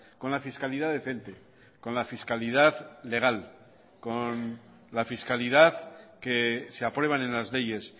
con la fiscalidad decente con la fiscalidad legal con la fiscalidad que se aprueban en las leyes